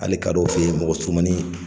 Hali kadɔw fɛ ye mɔgɔ surumanin